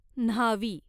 न्हावी